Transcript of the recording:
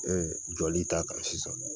Ee jɔli t'a kan sisan